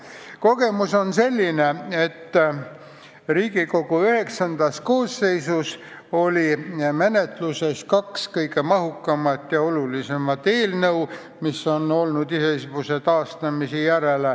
Kogemus on selline, et Riigikogu IX koosseisus oli menetluses kaks kõige mahukamat ja olulisemat eelnõu, mis on olnud iseseisvuse taastamise järel.